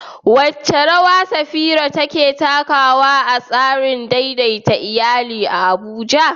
Wace rawa Safira take takawa a tsarin daidaita iyali a Abuja?